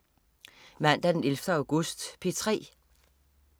Mandag den 11. august - P3: